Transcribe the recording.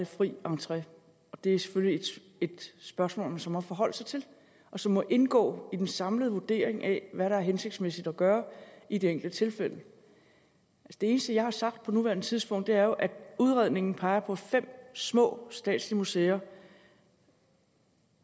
fri entré og det er selvfølgelig et spørgsmål man så må forholde sig til og som må indgå i den samlede vurdering af hvad der er hensigtsmæssigt at gøre i det enkelte tilfælde det eneste jeg har sagt på nuværende tidspunkt er jo at udredningen peger på fem små statslige museer